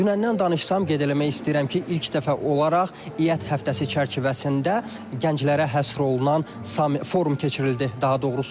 Dünəndən danışsam qeyd eləmək istəyirəm ki, ilk dəfə olaraq İƏT həftəsi çərçivəsində gənclərə həsr olunan forum keçirildi daha doğrusu.